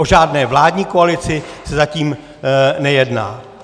O žádné vládní koalici se zatím nejedná.